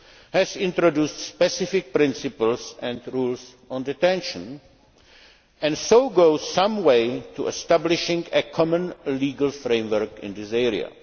has introduced specific principles and rules on detention, and so goes some way to establishing a common legal framework in this area.